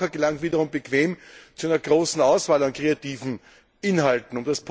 Der Verbraucher gelangt wiederum bequem zu einer großen Auswahl an kreativen Inhalten.